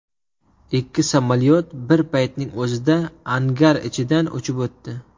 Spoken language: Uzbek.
Ikki samolyot bir paytning o‘zida angar ichidan uchib o‘tdi .